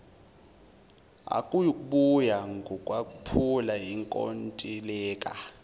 akuyukuba ngukwaphula inkontileka